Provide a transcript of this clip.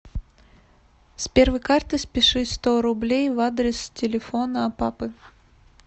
с первой карты спиши сто рублей в адрес телефона папы